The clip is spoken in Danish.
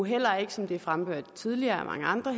heller ikke som det er fremført tidligere af mange andre